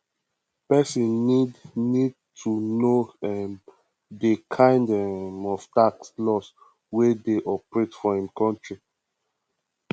person need need to know um di um kind um of tax laws wey dey operate for im country